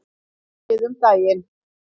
Hætti við um daginn.